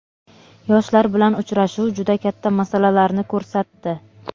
Yoshlar bilan uchrashuv juda katta masalalarni ko‘rsatdi.